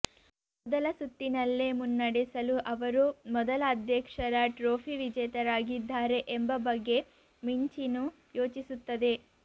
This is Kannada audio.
ಮೊದಲ ಸುತ್ತಿನಲ್ಲೇ ಮುನ್ನಡೆಸಲು ಅವರು ಮೊದಲ ಅಧ್ಯಕ್ಷರ ಟ್ರೋಫಿ ವಿಜೇತರಾಗಿದ್ದಾರೆ ಎಂಬ ಬಗ್ಗೆ ಮಿಂಚಿನು ಯೋಚಿಸುತ್ತದೆ